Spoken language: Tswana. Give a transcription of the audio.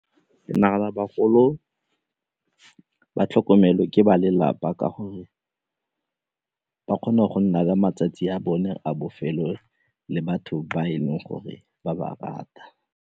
Ke nagana bagolo ba tlhokomele ke ba lelapa ka gore ba kgone go nna le matsatsi a bone a bofelo le batho ba e leng gore ba ba rata.